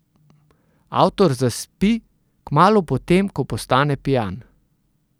Avtor zaspi kmalu po tem, ko postane pijan.